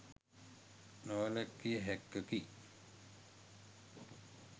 නොවැළක්විය හැක්කකි